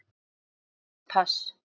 Þungt pass.